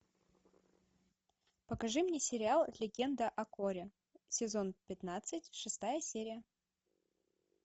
покажи мне сериал легенда о корре сезон пятнадцать шестая серия